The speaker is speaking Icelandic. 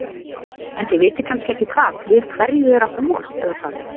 En þið vitið kannski ekki hvað, við hverju er að búast eða hvað?